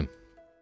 Tilsim.